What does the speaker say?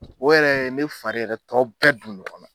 O yɛrɛ ne fari yɛrɛ tɔ bɛɛ don ɲɔngɔnna.